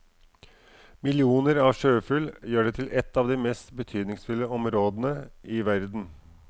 Millioner av sjøfugl gjør det til ett av de mest betydningsfulle områdene i verden.